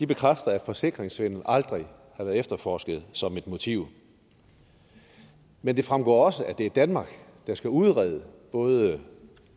bekræfter at forsikringssvindel aldrig har været efterforsket som et motiv men det fremgår også at det er danmark der skal udrede både